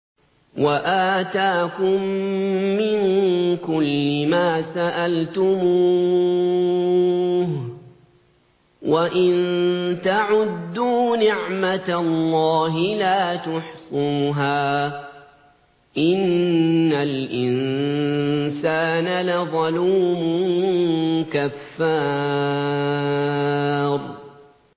وَآتَاكُم مِّن كُلِّ مَا سَأَلْتُمُوهُ ۚ وَإِن تَعُدُّوا نِعْمَتَ اللَّهِ لَا تُحْصُوهَا ۗ إِنَّ الْإِنسَانَ لَظَلُومٌ كَفَّارٌ